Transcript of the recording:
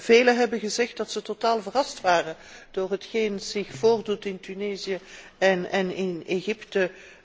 Velen hebben gezegd dat zij totaal verrast waren door hetgeen zich voordoet in Tunesië en in Egypte.